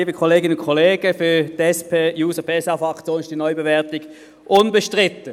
Für die SP-JUSO-PSA-Fraktion ist die Neubewertung unbestritten.